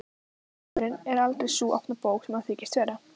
Maðurinn er aldrei sú opna bók sem hann þykist vera.